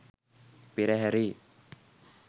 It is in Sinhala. පෙරහැරේ